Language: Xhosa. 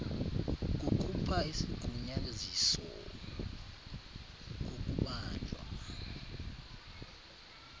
kukhupha isigunyaziso kokubanjwa